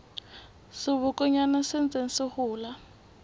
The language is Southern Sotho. sebokonyana se ntseng se hola